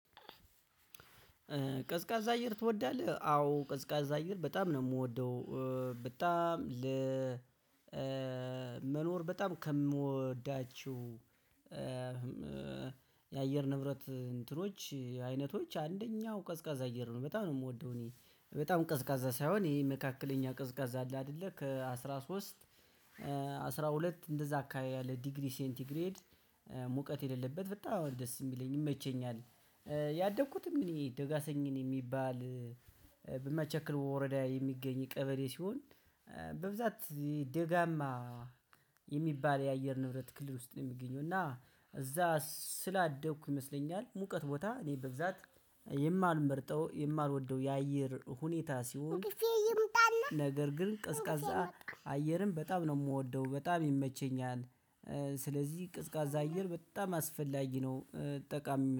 ቀዝቃዛ አየር ትወዳለህ? አዎ ቀዝቃዛ አየር በጣም ነው ምወደው በጣም ለመኖር በጣም ከምወዳቸው የአየር ንብረት እንትኖች አይነቶች አንደኛው ቀዝቃዛ አየር ነው በጣም ነው የምወደው እኔ በጣም ቀዝቃዛ ሳይሆን ይሄ መካከለኛ ቀዝቃዛ አለ አይደለ ከአስራ ሶስት አስራ ሁለት እንደዛ አካባቢ ያለ ዲግሪ ሴንቲግሬድ ሙቀት የሌለበት በጣም አሁን ደስ የሚለኝ ይመቸኛል። ያደኩትም እኔ ደጋሰኝን የሚባል በማቸክል ወረዳ የሚገኝ ቀበሌ ሲሆን በብዛት ደጋማ የሚባል የአየር ንብረት ክልል ውስጥ ነው የሚገኘው እና እዛ ስላደኩ ይመስለኛል ሙቀት ቦታ እኔ በዛት የማልመርጠው የማልወደው የአየር ሁኔታ ሲሆን "እንቅልፌ ይምጣና" ነገር ግን ቀዝቃዛ" እንቅልፌ መጣ" አየርን በጣም ነው የምወደው በጣም ይመቸኛል ስለዚህ ቀዝቃዛ አየር በጣም አስፈላጊ ነው። ጠቃሚ